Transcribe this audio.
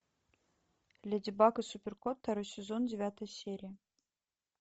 леди баг и супер кот второй сезон девятая серия